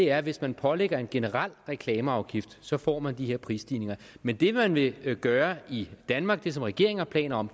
er at hvis man pålægger en generel reklameafgift så får man de her prisstigninger men det man vil gøre i danmark det som regeringen har planer om